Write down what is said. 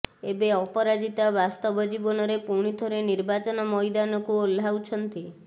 ଏବେ ଅପରାଜିତା ବାସ୍ତବ ଜୀବନରେ ପୁଣି ଥରେ ନିର୍ବାଚନ ମଇଦାନକୁ ଓହ୍ଲାଉଛନ୍ତି